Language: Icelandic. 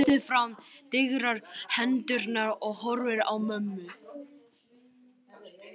Réttir fram digrar hendurnar og horfir á mömmu.